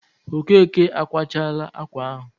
Okeke akwachaala ákwà ahụ?